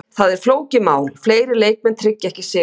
Það er flókið mál, fleiri leikmenn tryggja ekki sigurinn.